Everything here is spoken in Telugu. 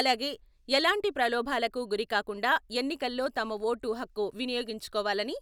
అలాగే ఎలాంటి ప్రలోభాలకు గురి కాకుండా ఎన్నికల్లో తమ ఓటు హక్కు వినియోగించుకోవాలని